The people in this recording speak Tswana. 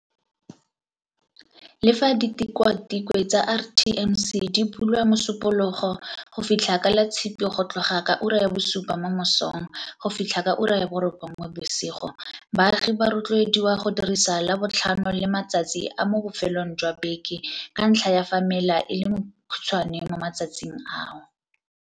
Le fa ditikwatikwe tsa RTMC di bulwa Mosupo logo go fitlha ka Latshipi go tloga ka ura ya bosupa mo mosong go fitlha ka ura ya borobongwe bosigo, baagi ba rotloediwa go dirisa Labotlhano le matsatsi a mo bofelong jwa beke ka ntlha ya fa mela e le mekhutshwane mo matsatsing ao.